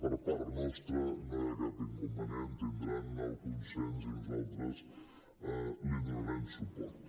per part nostra no hi ha cap inconvenient tindran el consens i nosaltres hi donarem suport